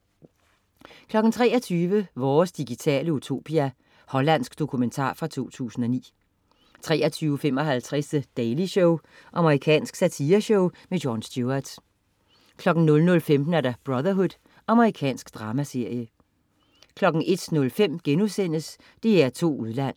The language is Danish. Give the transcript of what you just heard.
23.00 Vores digitale utopia. Hollandsk dokumentar fra 2009. 23.55 The Daily Show. Amerikansk satireshow. Jon Stewart 00.15 Brotherhood. Amerikansk dramaserie 01.05 DR2 Udland*